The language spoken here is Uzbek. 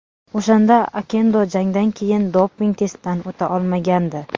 O‘shanda Okendo jangdan keyin doping testdan o‘ta olmagandi.